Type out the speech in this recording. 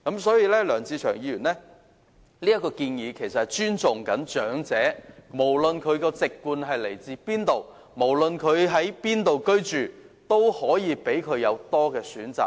所以，梁志祥議員的建議是從尊重長者的角度出發，無論其籍貫為何，在哪裏居住，均可有多一個選擇。